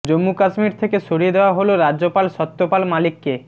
জম্মু কাশ্মীর থেকে সরিয়ে দেওয়া হল রাজ্যপাল সত্যপাল মালিককে